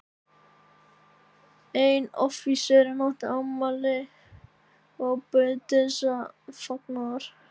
Einn offíserinn átti afmæli og bauð til þessa fagnaðar.